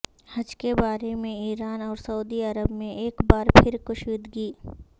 حج کے بارے میں ایران اور سعودی عرب میں ایک بار پھر کشیدگی